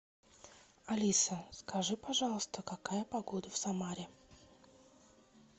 алиса скажи пожалуйста какая погода в самаре